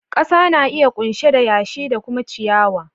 Kasa na iya kunshe da yashi da kuma ciyawa.